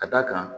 Ka d'a kan